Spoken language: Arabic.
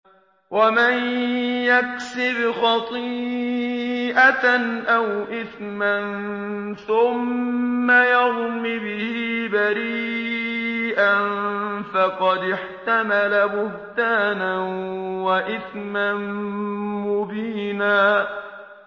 وَمَن يَكْسِبْ خَطِيئَةً أَوْ إِثْمًا ثُمَّ يَرْمِ بِهِ بَرِيئًا فَقَدِ احْتَمَلَ بُهْتَانًا وَإِثْمًا مُّبِينًا